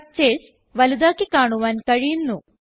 structures വലുതാക്കി കാണുവാൻ കഴിയുന്നു